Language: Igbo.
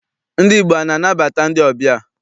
Ndị Igbo ana anabata ndị ọbịa?